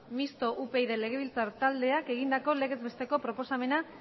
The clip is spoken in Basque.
mixtoa upyd legebiltzar taldeak egindako legez besteko proposamena